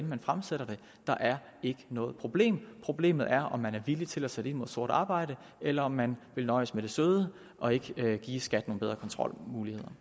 man fremsætter det der er ikke noget problem problemet er om man er villig til at sætte ind mod sort arbejde eller om man vil nøjes med det søde og ikke give skat nogle bedre kontrolmuligheder